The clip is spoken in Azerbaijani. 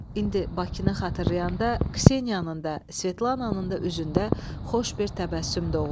İndi Bakını xatırlayanda Kseniyanın da, Svetlananın da üzündə xoş bir təbəssüm doğur.